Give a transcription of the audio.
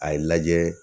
A ye lajɛ